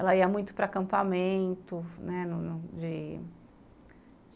Ela ia muito para acampamento, né? de